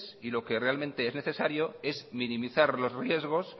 y lo que realmente necesario es minimizar los riesgos